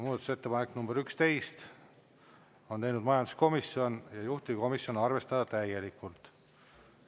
Muudatusettepaneku nr 11 on teinud majanduskomisjon ja juhtivkomisjon: arvestada täielikult.